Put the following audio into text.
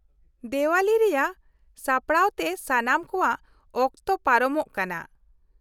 -ᱫᱮᱶᱟᱞᱤ ᱨᱮᱭᱟᱜ ᱥᱟᱯᱲᱟᱣᱛᱮ ᱥᱟᱱᱟᱢ ᱠᱚᱣᱟᱜ ᱚᱠᱚᱛ ᱯᱟᱨᱚᱢᱚᱜ ᱠᱟᱱᱟ ᱾